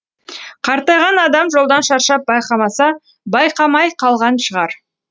қартайған адам жолдан шаршап байқамаса байқамай қалған шығар